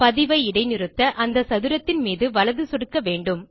பதிவை இடைநிறுத்த அந்த சதுரத்தின் மீது வலது சொடுக்க வேண்டும்